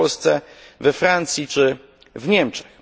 w Polsce, we Francji czy w Niemczech.